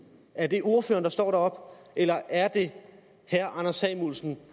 er det ordføreren der står deroppe eller er det herre anders samuelsen